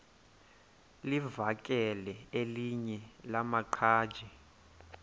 livakele elinye lamaqhaji